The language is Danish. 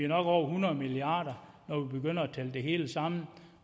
nok over hundrede milliard at tælle det hele sammen